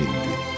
Atına mindi.